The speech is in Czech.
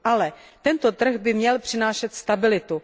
Ale tento trh by měl přinášet stabilitu.